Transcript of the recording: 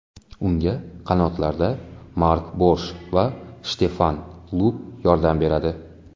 Unga qanotlarda Mark Borsh va Shtefan Lupp yordam beradi.